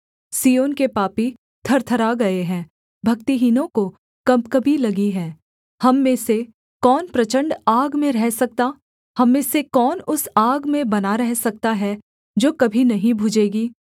सिय्योन के पापी थरथरा गए हैं भक्तिहीनों को कँपकँपी लगी है हम में से कौन प्रचण्ड आग में रह सकता हम में से कौन उस आग में बना रह सकता है जो कभी नहीं बुझेगी